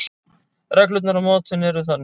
Reglurnar á mótinu eru þannig: